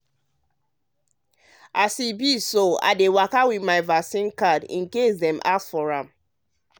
e be like so i dey waka with my vaccine card in case dem ask for am.